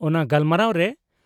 ᱚᱱᱟ ᱜᱟᱞᱢᱟᱨᱟᱣ ᱨᱮ